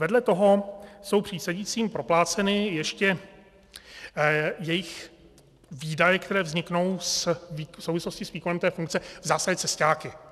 Vedle toho jsou přísedícím propláceny ještě jejich výdaje, které vzniknou v souvislosti s výkonem té funkce, v zásadě cesťáky.